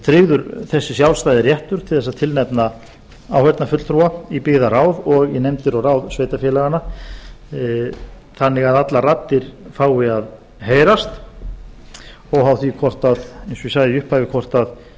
tryggður þessi sjálfstæði réttur til að nefna áheyrnarfulltrúa í byggðarráð og í nefndir og ráð sveitarfélaganna þannig að allar raddir fái að heyrast óháð því eins og ég sagði í